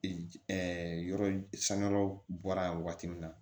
yɔrɔ sanga yɔrɔ bɔra yan wagati min na